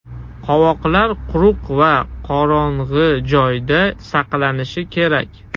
Qovoqlar quruq va qorong‘i joyda saqlanishi kerak.